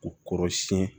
U kɔrɔ siɲɛ